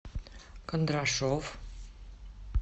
кондрашов